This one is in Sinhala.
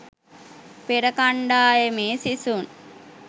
පෙර කණ්ඩායමේ සිසුන්